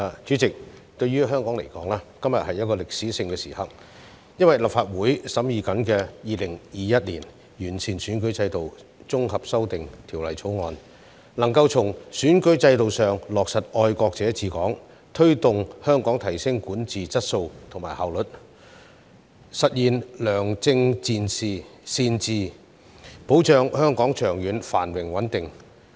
主席，對於香港而言，今天是一個歷史性的時刻，因為立法會正在審議的《2021年完善選舉制度條例草案》，能夠從選舉制度上落實"愛國者治港"，推動香港提升管治質素和效率，實現良政善治，保障香港長遠繁榮穩定。